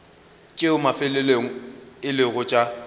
tšeo mafelelong e lego tša